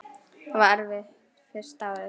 Það var erfitt fyrsta árið.